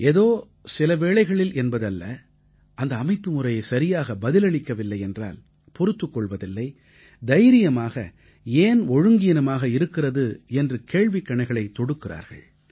ஏதோ சில வேளைகளில் என்பது அல்ல அந்த அமைப்புமுறை சரியாக பதிலளிக்கவில்லை என்றால் பொறுத்துக் கொள்வதில்லை தைரியமாக ஏன் ஒழுங்கீனமாக இருக்கிறது என்று கேள்விக்கணைகளைத் தொடுக்கிறார்கள்